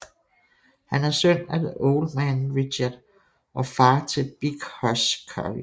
Han er søn af The Old Man Richard og far til Big Hoss Corey